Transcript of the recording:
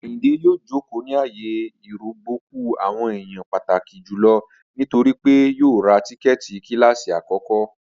Ayíndé yòò jókò ní ààyè ìrọ̀gbọ̀kú àwọn èèyàn pàtàkí jùlọ nítorí pé yòò rá tíkẹ́ẹ̀tì kílásí akọ̀kọ